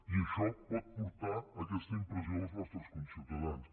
i això pot fer aquesta impressió als nostres conciutadans